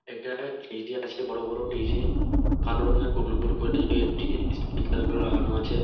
এটায় ডিজে আছে বড় বড় ডিজে কালো রং এর গোল গোল একটি স্পিকার লাগানো আছে।